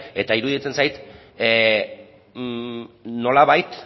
eta iruditzen zait nolabait